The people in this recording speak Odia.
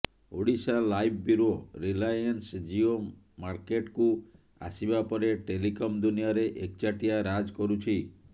ଓଡ଼ିଶାଲାଇଭ୍ ବ୍ୟୁରୋ ରିଲାଏନ୍ସ ଜିଓ ମାର୍କଟେକୁ ଆସିବା ପରେ ଟେଲିକମ୍ ଦୁନିଆରେ ଏକଚାଟିଆ ରାଜ୍ କରୁଛି